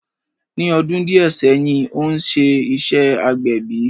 Ní ọdún díè sẹ́yìn, ó ń ṣe iṣẹ́ agbẹ̀bí